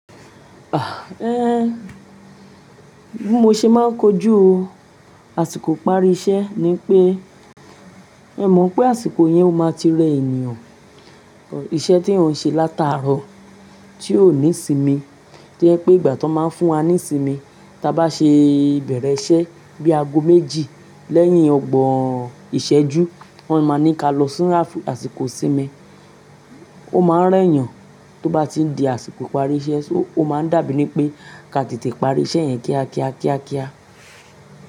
Bí mo ṣe máa ń kojú àsìkò ìparí iṣẹ́ ni wipé, ẹ mọ̀ n pé àsìkò yẹn ó máa ti rẹ ènìyàn, iṣẹ́ tí eeyan ṣe látàárọ̀ tí ò ní isinmi, to jẹ pé ìgbà tí wọ́n máa ń fún wa ní isinmi, tí a bá ṣe bẹ̀rẹ̀ iṣẹ́ bí aago méjì lẹ́yìn ọgbọ̀n ìṣẹ́jú, wọ́n máa ní ká lọ fún àsìkò isinmi, ó máa ń rẹ́ yàn tó bá ti n di àsìkò ìparí iṣẹ́, so ó máa ń dàbí ní pé ká tètè parí iṣẹ́ yẹn kíákíá, kíákíá.